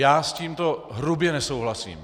Já s tímto hrubě nesouhlasím.